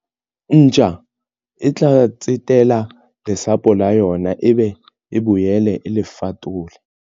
Ntja e tla tsetela lesapo la yona ebe e boele e le fatolle.